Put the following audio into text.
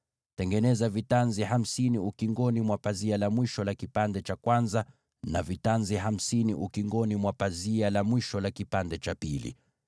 Tengeneza vitanzi hamsini kwenye upindo wa pazia la mwisho la fungu moja, na vivyo hivyo kwenye upindo wa pazia la mwisho la fungu hilo lingine.